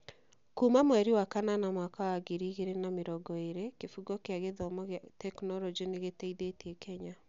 Kuuma mweri wa kanana mwaka wa ngiri igĩrĩ na mĩrongo ĩĩrĩ, Kĩbungo kĩa gĩthomo kĩa tekinoronjĩ nĩ gĩteithĩtie Kenya